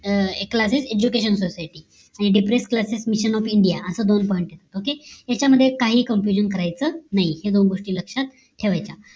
classes education society आणि depress classes mission of India असे दोन pointokay आहेत याच्या मध्ये काही confusion करायचं नाही या दोन गोष्टी लक्षत ठेवाच्या